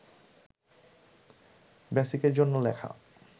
বেসিকের জন্য লেখা